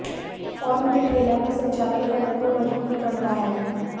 और मुझे ठेला का संचालन करने को मजबूर करता है